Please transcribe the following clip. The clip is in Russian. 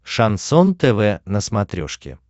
шансон тв на смотрешке